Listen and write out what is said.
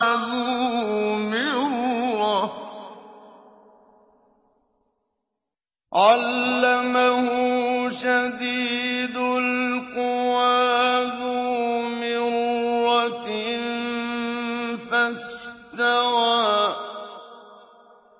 ذُو مِرَّةٍ فَاسْتَوَىٰ